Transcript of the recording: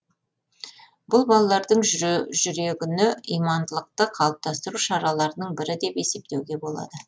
бұл балалардың жүрегіне имандылықты қалыптастыру шараларының бірі деп есептеуге болады